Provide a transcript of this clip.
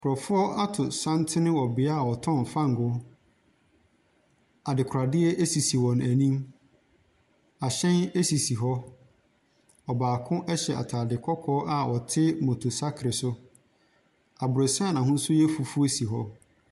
Nkorɔfoɔ ato santene wɔ bea wɔtɔn fangoo. Adekoradeɛ esisi wɔn enim, ahyɛn esisi hɔ, ɔbaako ɛhyɛ ataade kɔkɔɔ a ɔte moto saakel so. Aborosan ɛho yɛ fufuuo ɛnso si hɔ.